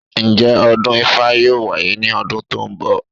Ǹjẹ́ ọdún ifá yóò wáyé ní ọdún tó ń bọ̀?